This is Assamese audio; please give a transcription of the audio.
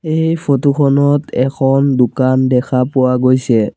এই ফটো খনত এখন দোকান দেখা পোৱা গৈছে।